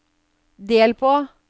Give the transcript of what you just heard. del på